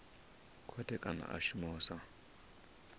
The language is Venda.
khothe kana a shuma sa